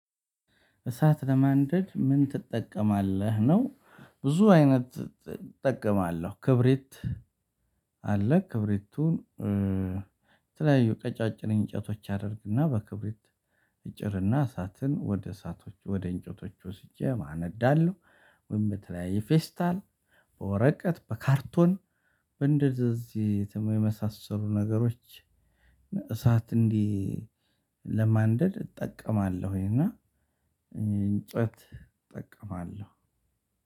እሳት ለማንደድ ምን ትጠቀማለህ ነው? ብዙ አይነት እጠቀማለሁ ክብሪት። አለ ክብሪቱን። የተለያዩ ቀጫጭን እንጨቶች አደርግና በክብሪት እጭርና እሳትን ወደ እሳቶች ወደ እንጨቶች ወስጄ አነዳለሁ። ወይም በተለያየ ፌስታል በወረቀት በካርቶን በእንደዚህ የተመሳሰሉ ነገሮች። እሳት እንዲህ ለማንደድ እጠቀማለሁኝ። እና እንጨት እጠቀማለሁ።